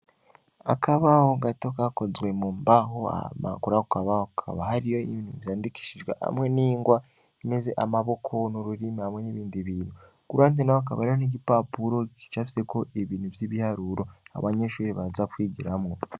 Akabaho gato kakozwe mu mbaho amakurakabaho kaba hariyo ibintu vyandikishijwe hamwe n'ingwa meze amaboko n'ururimi hamwe n'ibindi bintu gurande na wo akabariro n'igipapuro gicavyeko ibintu vy'ibiharuro abanyeshuri baza kwigiramwo.